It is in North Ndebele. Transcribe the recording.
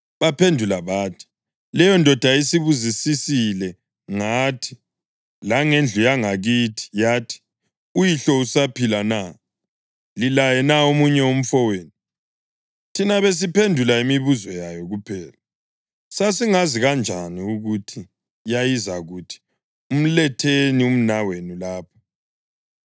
Baphendula bathi, “Leyondoda isibuzisisile ngathi langendlu yangakithi yathi, ‘Uyihlo usaphila na? Lilaye na omunye umfowenu?’ Thina besiphendula imibuzo yayo kuphela. Sasingazi kanjani ukuthi yayizakuthi, ‘Mletheni umnawenu lapha’?”